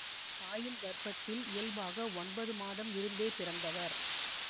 தாயின் கர்ப்பத்தில் இயல்பாக ஒன்பது மாதம் இருந்தே பிறந்தவர்